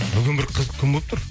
бүгін бір қызық күн болып тұр